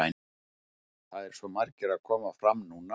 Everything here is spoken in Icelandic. Það eru svo margir að koma fram núna.